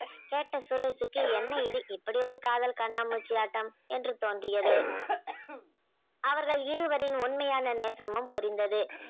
கேட்ட சுரேஷுக்கு என்ன இது இப்படி ஒரு காதல் கண்ணாமூச்சியாட்டம் என்று தோன்றியது அவர்கள் இருவரின் உண்மையான நேசமும் புரிந்தது